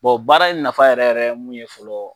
baara in nafa yɛrɛ yɛrɛ ye mun ye fɔlɔ